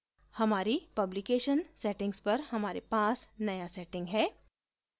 हमारी publication settings पर हमारे पास नया setting है